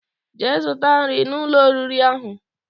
Jee zuta nri na Ụlọ oriri ahu